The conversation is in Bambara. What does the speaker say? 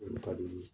Olu ka di u ye